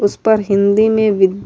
اس پر ہندی مے وی --